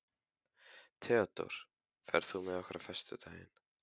Theódór, ferð þú með okkur á föstudaginn?